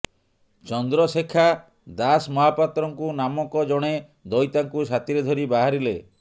ଚନ୍ଦ୍ରଶେଖା ଦାସମହାପାତ୍ରଙ୍କୁ ନାମକ ଜଣେ ଦଇତାଙ୍କୁ ସାଥୀରେ ଧରି ବାହାରିଲେ